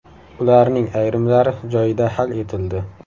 Ularning ayrimlari joyida hal etildi.